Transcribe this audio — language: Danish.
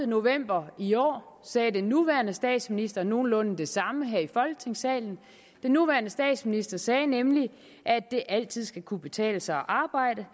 november i år sagde den nuværende statsminister nogenlunde det samme her i folketingssalen den nuværende statsminister sagde nemlig at det altid skal kunne betale sig at arbejde